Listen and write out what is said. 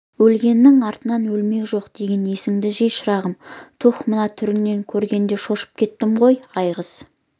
өлгеннің артынан өлмек жоқ деген есіңді жи шырағым түһ мына түріңді көргенде шошып кеттім ғой айғыз